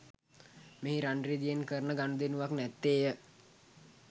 මෙහි රන් රිදියෙන් කරන ගනුදෙනුවක් නැත්තේ ය